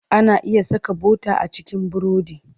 Ana iya saka bota a cikin burodi.